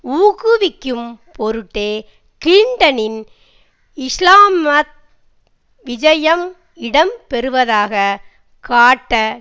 ஊக்குவிக்கும் பொருட்டே கிளின்டனின் இஸ்லாமத் விஜயம் இடம் பெறுவதாகக் காட்ட